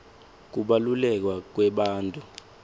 kubaluleka kwebantfu